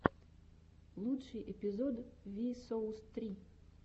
лучший эпизод ви соус три